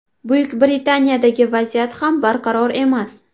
Buyuk Britaniyadagi vaziyat ham barqaror emas.